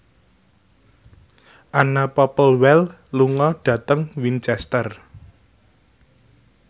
Anna Popplewell lunga dhateng Winchester